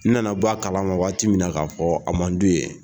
N na na bɔ a kalama waati min na k'a fɔ a man di.